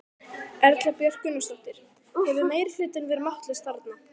Erla Björg Gunnarsdóttir: Hefur meirihlutinn verið máttlaus þarna?